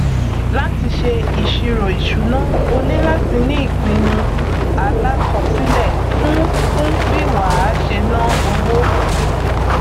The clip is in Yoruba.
láti ṣe ìṣirò ìṣúná o ní láti ní ìpinnu alákọṣílẹ fún fún bí wà á ṣe ná owó